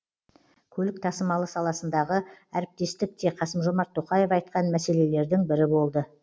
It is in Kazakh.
көлік тасымалы саласындағы әріптестік те қасым жомарт тоқаев айтқан мәселелердің бірі болды